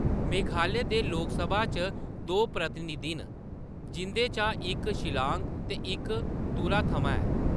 मेघालय दे लोकसभा च दो प्रतिनिधि न, जिंʼदे चा इक शिल्लांग ते इक तुरा थमां ऐ।